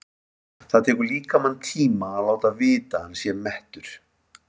Það tekur líkamann tíma að láta vita að hann sé mettur.